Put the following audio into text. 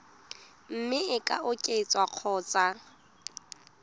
mme e ka oketswa kgotsa